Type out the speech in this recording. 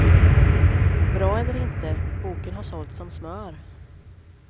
Bra eller inte, boken har sålt som smör.